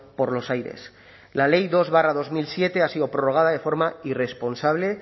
por los aires la ley dos barra dos mil siete ha sido prorrogada de forma irresponsable